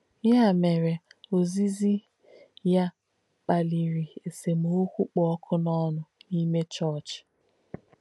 Yà mèrē, òzízì yà kpàlìrī èsèm̀kọ̀ kpù ọ́kù n’ónù n’íme chọ̀ọ̀chī.